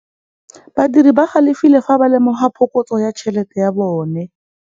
Badiri ba galefile fa ba lemoga phokotsô ya tšhelête ya bone.